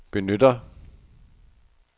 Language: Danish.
benytter